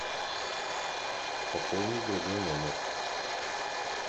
пополнить другой номер